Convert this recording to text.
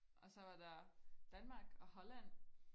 og så var der Danmark og Holland